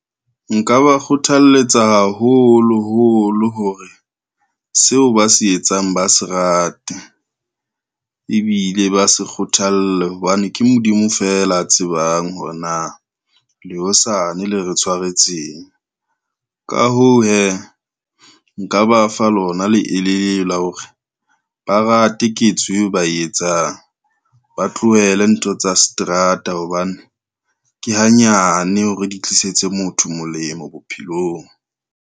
Nka ba kgothalletsa haholo holo hore seo ba se etsang ba se rate, ebile ba se kgothalle hobane ke Modimo feela a tsebang hore na le hosane le re tshwaretseng. Ka hoo, hee nka ba fa lona leele la hore ba rate ketso eo ba e etsang, ba tlohele ntho tsa seterata hobane ke hanyane hore di tlisetse motho molemo bophelong.